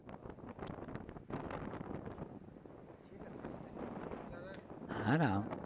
হারাম